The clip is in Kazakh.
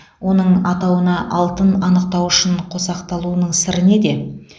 оның атауына алтын анықтауышын қосақталуының сыры неде